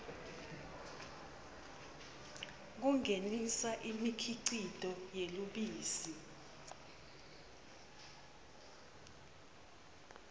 kungenisa imikhicito yelubisi